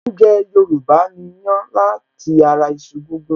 Oúnjẹ Yorùbá ni ìyàn lati ara iṣu gígún